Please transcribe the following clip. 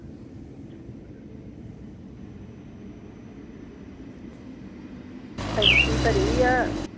ਟੈਂਕੀ ਭਰੀ ਆ?